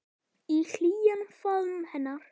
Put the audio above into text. Í hlýjan faðm hennar.